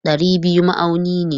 Dari biyu ma'auni ne.